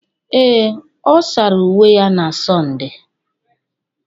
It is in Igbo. Ee, ọ sara uwe ya na Sọnde